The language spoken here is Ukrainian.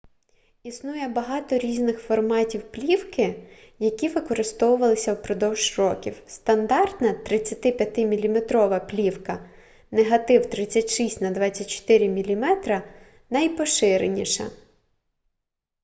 існує багато різних форматів плівки які використовувалися впродовж років. стандартна 35 мм плівка негатив 36 на 24 мм найпоширеніша